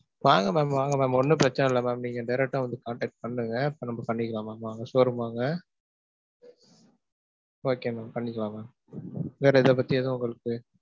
வாங்க mam வாங்க mam. ஒன்னும் பிரச்சன இல்ல mam நீங்க direct ஆ வந்து contact பண்ணுங்க. பண்ணிக்கலாம் mam. வாங்க showroom வாங்க. Okay mam பண்ணிக்கலாம் mam.